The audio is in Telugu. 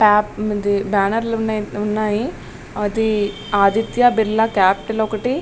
బ్యానర్ లు ఉన్నాయి ఆది ఆదిత్య బిర్లా క్యాపిటల్ ఒకటి --